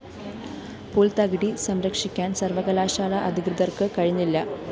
പുല്‍ത്തകിടി സംരക്ഷിക്കാന്‍ സര്‍വ്വകലാശാല അധികൃതര്‍ക്ക് കഴിഞ്ഞില്ല